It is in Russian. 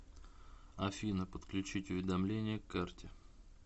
афина подключить уведомление к карте